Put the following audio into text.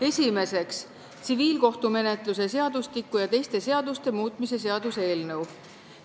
Esimeseks, tsiviilkohtumenetluse seadustiku ja teiste seaduste muutmise seaduse eelnõu.